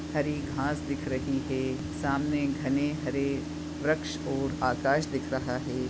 हरी घास दिख रही है सामने गने हरे वृक्ष और आकाश दिख रहा है।